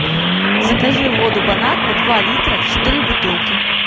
закажи воду бон аква два литра четыре бутылки